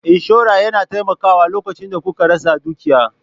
Inshora yana taimakawa lokacin da kuka rasa dukiya.